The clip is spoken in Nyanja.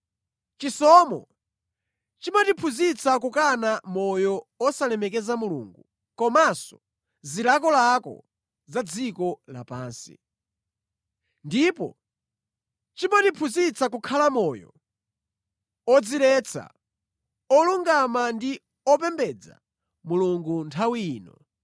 Chisomo chimatiphunzitsa kukana moyo osalemekeza Mulungu komanso zilakolako za dziko lapansi. Ndipo chimatiphunzitsa kukhala moyo odziletsa, olungama ndi opembedza Mulungu nthawi ino,